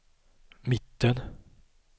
mitten